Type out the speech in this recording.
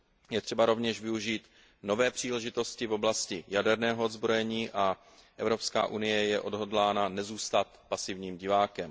Je třeba rovněž využít nové příležitosti v oblasti jaderného odzbrojení a Evropská unie je odhodlána nezůstat pasivním divákem.